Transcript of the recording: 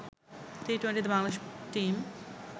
টি-টোয়েন্টিতে Bangladesh team